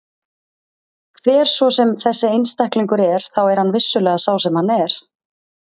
Hver svo sem þessi einstaklingur er þá er hann vissulega sá sem hann er.